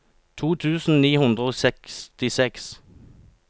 to tusen ni hundre og sekstiseks